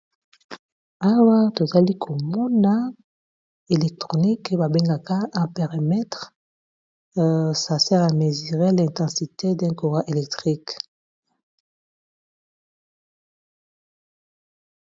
Awa tozali komona electronique babengaka a périmètre ça sert à mesure l'intensité d'un courant électrique.